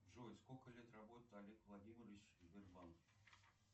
джой сколько лет работает олег владимирович в сбербанке